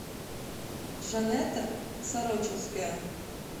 жанетта сорочинская